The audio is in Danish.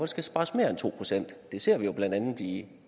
skal spares mere end to procent det ser vi jo blandt andet i